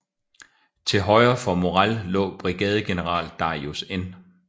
Til højre for Morrell lå brigadegeneral Darius N